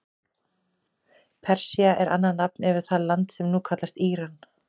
Persía er annað nafn yfir það land sem nú kallast Íran.